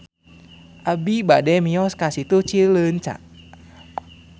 Abi bade mios ka Situ Cileunca